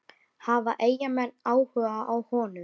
Hafa Eyjamenn áhuga á honum?